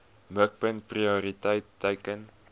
mikpunt prioriteit teiken